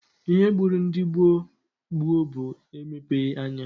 Ihe gburu ndị gboo gboo bụ emepeghi anya